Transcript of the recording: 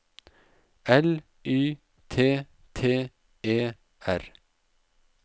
L Y T T E R